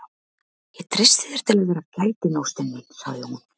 Ég treysti þér til að vera gætin, ástin mín, sagði hún.